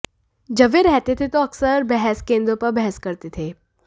जब वह रहते थे तो अक्सर बहस केंद्रों पर बहस करते थे